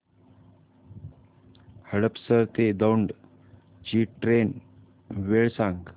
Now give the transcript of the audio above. हडपसर ते दौंड ची ट्रेन वेळ सांग